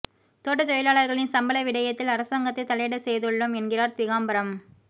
தோட்டத் தொழிலாளர்களின் சம்பள விடயத்தில் அரசாங்கத்தை தலையிடச் செய்துள்ளோம் என்கிறார் திகாம்பரம்